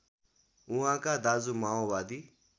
उहाँका दाजु माओवादी